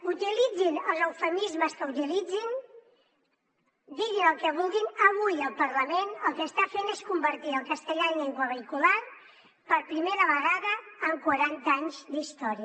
utilitzin els eufemismes que utilitzin diguin el que vulguin avui el parlament el que està fent és convertir el castellà en llengua vehicular per primera vegada en quaranta anys d’història